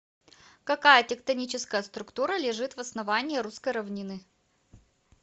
какая тектоническая структура лежит в основании русской равнины